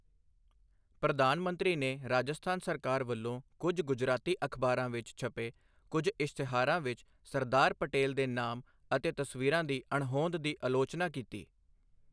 ਪ੍ਰਧਾਨ ਮੰਤਰੀ ਨੇ ਰਾਜਸਥਾਨ ਸਰਕਾਰ ਵਲੋਂ ਕੁਝ ਗੁਜਰਾਤੀ ਅਖ਼ਬਾਰਾਂ ਵਿੱਚ ਛਪੇ ਕੁਝ ਇਸ਼ਤਿਹਾਰਾਂ ਵਿੱਚ ਸਰਦਾਰ ਪਟੇਲ ਦੇ ਨਾਮ ਅਤੇ ਤਸਵੀਰਾਂ ਦੀ ਅਣਹੋਂਦ ਦੀ ਆਲੋਚਨਾ ਕੀਤੀ।